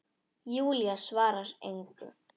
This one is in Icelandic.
Júlía svarar engu.